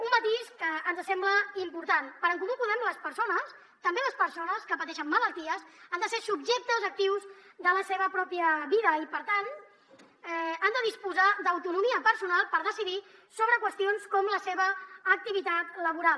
un matís que ens sembla important per a en comú podem les persones també les persones que pateixen malalties han de ser subjectes actius de la seva pròpia vida i per tant han de disposar d’autonomia personal per decidir sobre qüestions com la seva activitat laboral